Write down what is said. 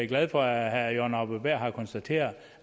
glad for at herre jørgen arbo bæhr har konstateret